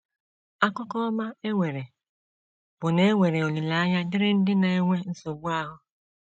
Akụkọ ọma e nwere bụ na e nwere olileanya dịịrị ndị na - enwe nsogbu ahụ.